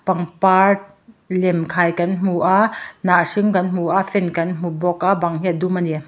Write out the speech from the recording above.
pangpar lem khai kan hmu a hnah hring kan hmu a fan kan hmu bawka bang hi a dum ani.